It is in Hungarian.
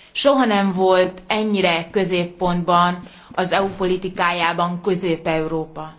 Soha nem volt ennyire középpontban az EU politikájában Közép Európa.